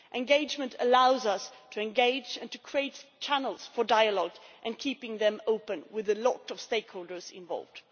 Engagement allows us to engage and to create channels for dialogue, keeping them open with a lot of stakeholders involved.